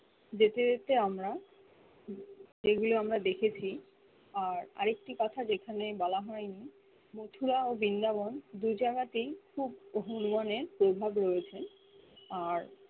যেতে যেতে আমরা যেগুলো আমরা দেখেছি আর আরেকটি কথা যেখানে বলা হয় নি মথুরা ও বিন্দা বন দুজায়গাতেয় খুব অহুর বনে প্রভাব রয়েছে আর